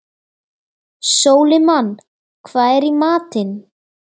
Sólimann, hvað er í matinn?